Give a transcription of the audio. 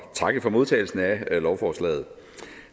takke for modtagelsen af lovforslaget